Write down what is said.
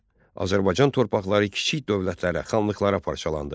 Azərbaycan torpaqları kiçik dövlətlərə, xanlıqlara parçalandı.